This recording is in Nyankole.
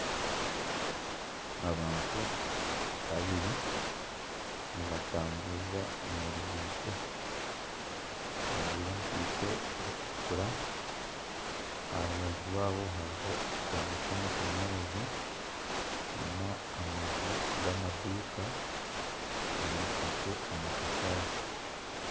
Abantu babiri nibatamburira omu ruguuto bajwire enkaito zikutukura, aha rubaju rwabo hariho ekindo ky'amashanyarazi nana amaju g'amaduuka gombekise amatafaari